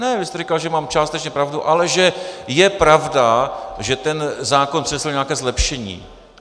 Ne, vy jste říkal, že mám částečně pravdu, ale že je pravda, že ten zákon přinesl nějaké zlepšení.